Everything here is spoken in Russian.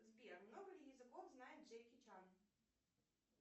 сбер много ли языков знает джеки чан